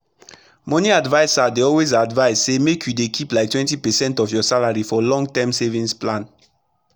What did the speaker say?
moni adviser dey always advise say make you dey keep like 20 percent of ur salary for long term saving plan